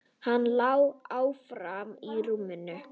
Hann lá áfram í rúminu.